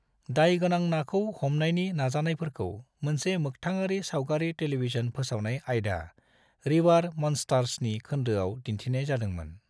दाय गोनां नाखौ हमानायनि नाजानायफोरखौ मोनसे मोखथाङारि सावगारि टेलीविजन फोसावनाय आयदा, रिवार मन्स्टार्सनि खोन्दोआव दिन्थिनाय जादोंमोन।